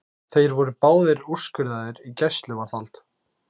Þeir voru báðir úrskurðaðir í gæsluvarðhald